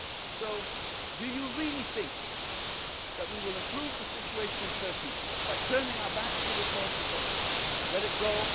make today. So do you really think that we will improve the situation in Turkey by turning our backs on the Turks and saying oh,